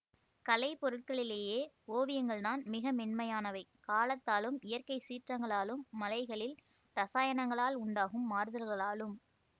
கலை பொருட்களிலேயே ஓவியங்கள் தான் மிக மென்மையானவை காலத்தாலும் இயற்கை சீற்றங்களாலும் மலைகளில் இரசாயனங்களால் உண்டாகும் மாறுதல்களாலும்